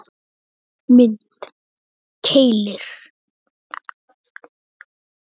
Mynd: Keilir